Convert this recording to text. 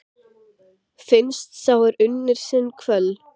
Finnst sá er unnir sinni kvöl?